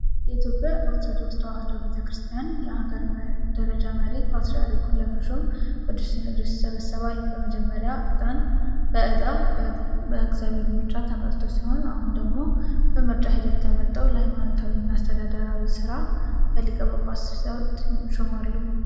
የኢትዮጵያ ኦርቶዶክስ ተዋሕዶ ቤተ ክርስቲያን የአገር ደረጃ መሪ (ፓትርያርኩን) ለመሾም ቅዱስ ሲኖዶስ ይሰበሰባል። በመጀመሪያ በዕጣ (በእግዚአብሔር ምርጫ) ተመርጦ ሲሆን፣ አሁን ደግሞ በምርጫ ሂደት ተመርጠው ለሃይማኖታዊውና አስተዳደራዊው ሥራ በሊቀ ጳጳሳት ይሾማሉ።